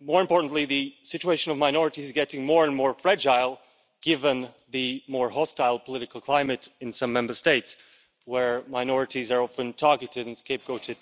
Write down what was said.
More importantly, the situation of minorities is getting more and more fragile, given the more hostile political climate in some Member States, where minorities are often targeted and scapegoated